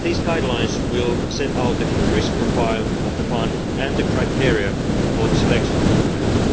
These guidelines will set out the risk profile of the fund and the criteria for the selection of projects.